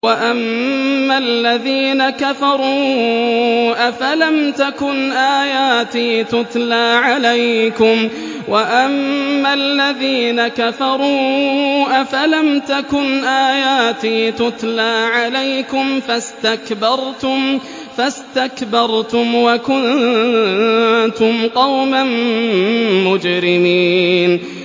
وَأَمَّا الَّذِينَ كَفَرُوا أَفَلَمْ تَكُنْ آيَاتِي تُتْلَىٰ عَلَيْكُمْ فَاسْتَكْبَرْتُمْ وَكُنتُمْ قَوْمًا مُّجْرِمِينَ